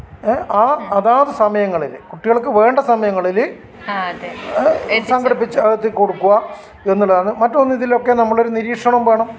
എഹ് ആഹ് അതാ സമയങ്ങളിൽ കുട്ടികൾക്ക് വേണ്ട സമയങ്ങളിൽ സംഘടിപ്പിച്ച് എത്തികൊടുക്കുക്ക എന്നുള്ളതാണ് മറ്റൊന്ന് ഇതിലൊക്കെ നമ്മളുടെ ഒരു നിരീക്ഷണം വേണം